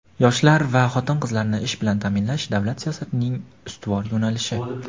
Yoshlar va xotin-qizlarni ish bilan ta’minlash - davlat siyosatining eng ustuvor yo‘nalishi.